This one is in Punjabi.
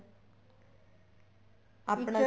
ਆਪਣਾ